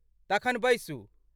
तखन बैसू।